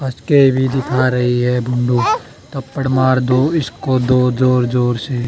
आज केवी दिखा रही है धपड़ मार दो इसको दो जोर जोर से